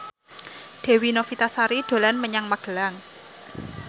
Dewi Novitasari dolan menyang Magelang